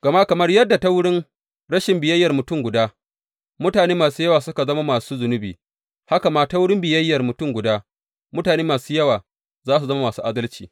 Gama kamar yadda ta wurin rashin biyayyar mutum guda, mutane masu yawa suka zama masu zunubi, haka kuma ta wurin biyayyar mutum guda, mutane da yawa za su zama masu adalci.